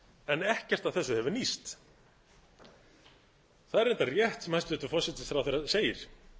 en ekkert af þessu hefur nýst það er reyndar rétt sem hæstvirtur forsætisráðherra segir